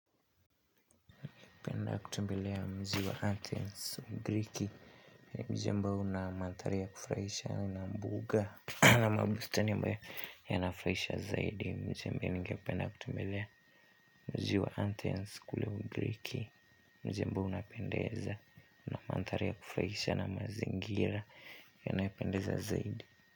Kutumbelea mji wa athens ugiriki ni mji ambao una mandhari ya kufurahisha una mbuga na mabustani ambayo yanafurahisha zaidi mji ambao ningependa kutembelea mji wa athens kule ugiriki ambao unapendeza una mandhari ya kufurahisha na mazingira yanayopendeza zaidi.